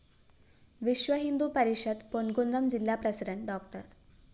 വിശ്വഹിന്ദു പരിഷത്ത് പൊന്‍കുന്നം ജില്ലാ president Dr